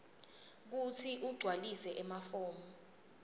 kutsi ugcwalise emafomu